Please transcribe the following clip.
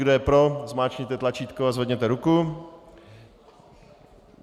Kdo je pro, zmáčkněte tlačítko a zvedněte ruku.